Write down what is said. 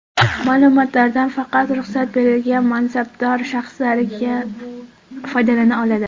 Ma’lumotlardan faqat ruxsat berilgan mansabdor shaxslargina foydalana oladi.